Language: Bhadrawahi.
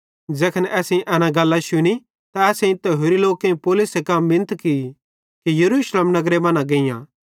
ज़ैखन असेईं एना गल्लां शुनी त असेईं ते होरि लोकेईं पौलुसे कां मिनत की कि यरूशलेम नगरे मां न गेइयां